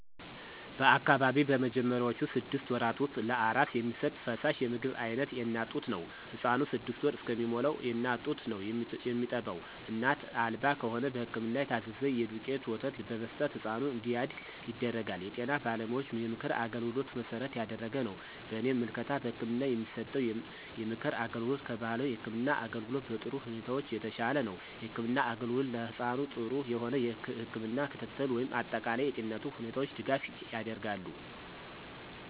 በአካባቢው በመጀመሪያውቹ ስድስት ወራት ውስጥ ለአራስ የሚሰጥ ፈሳሽ የምግብ አይነት የእናት ጡት ነው። ህፃኑ ስድስት ወር እስከሚሞላዉ የእናት ጡት ነው የሚጠባው እናት አልባ ከሆነ በህክምና የታዘዘ የዱቄት ወተት በመስጠት ህፃኑ እንዲያድግ ይደረጋል። የጤና ባለሙያዎችን የምክር አገልግሎት መሠረት ያደረገ ነው። በእኔ ምልከታ በህክምና የሚሰጠው የምክር አገልግሎት ከባህላዊ የህክም አገልግሎት በጥሩ ሁኔታዎች የተሻለ ነው። የህክምና አገልግሎት ለህፃኑ ጥሩ የሆነ የህክም ክትትል ወይም አጠቃላይ የጤንነቱ ሁኔታዎች ድጋፍ ያደርጋሉ።